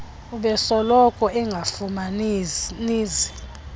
ubesoloko engafumani zi